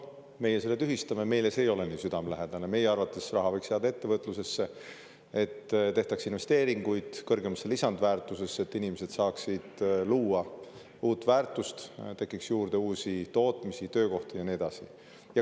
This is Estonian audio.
Meie selle tühistame, meile ei ole see nii südamelähedane, meie arvates võiks raha jääda ettevõtlusesse, et tehtaks investeeringuid kõrgemasse lisandväärtusesse, et inimesed saaksid luua uut väärtust, tekiks juurde uusi tootmisi, töökohti ja nii edasi.